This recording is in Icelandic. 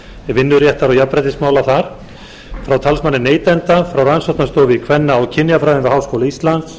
vinnuréttar og jafnréttismála þar frá talsmanni neytenda frá rannsóknastofu í kvenna og kynjafræði við háskóla íslands